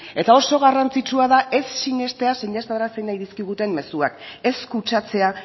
eta oso garrantzitsua da ez sinestea sinestarazi nahi dizkiguten mezuak ez kutsatzea